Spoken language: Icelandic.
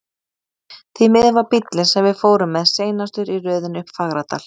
Því miður var bíllinn, sem við fórum með, seinastur í röðinni upp Fagradal.